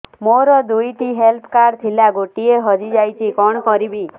ମୋର ଦୁଇଟି health card ଥିଲା ଗୋଟିଏ ହଜି ଯାଇଛି କଣ କରିବି